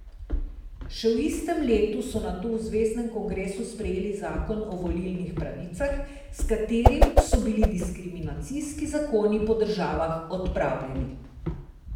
Še v istem letu so nato v zveznem kongresu sprejeli zakon o volilnih pravicah, s katerim so bili diskriminacijski zakoni po državah odpravljeni.